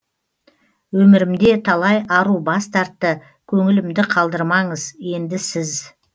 өмірімде талай ару бас тартты көңілімді қалдырмаңыз енді сіз